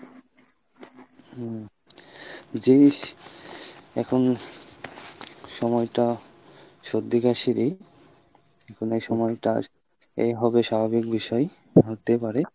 হুম যেই এখন সময়টা সর্দি কাশীরই এখন এই সময়টা , এই হবে স্বাবাভিক বিষয় হতে পারে।